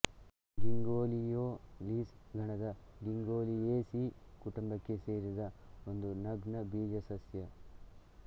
ಗಿಂಗೊಯೋಲೀಸ್ ಗಣದ ಗಿಂಗೊಯೇಸೀ ಕುಟುಂಬಕ್ಕೆ ಸೇರಿದ ಒಂದು ನಗ್ನ ಬೀಜ ಸಸ್ಯ